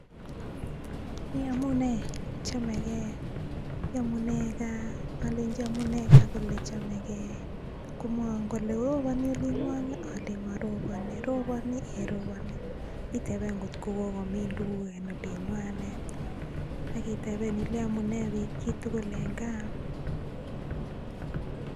'Yomune','Chamegei', alenji amune gaa kole chamegei, komwowon kole,'roponi olinng'wong?',olenji'moroponi','roponi',;'ei roponi';iteben kotkokomin tuguk en olinywan, akiteben ilei amune chitugul en gaa.